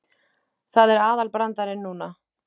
Það er aðalbrandarinn núna.